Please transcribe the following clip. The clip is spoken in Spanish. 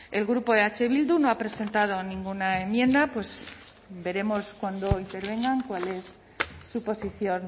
el grupo eh bildu no ha presentado ninguna enmienda pues veremos cuando intervengan cuál es su posición